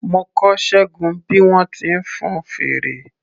Mo kọ́ Ṣẹ́gun bí wọ́n ti ń fun fèrè.